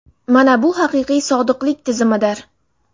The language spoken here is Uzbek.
Mana bu haqiqiy sodiqlik tizimidir.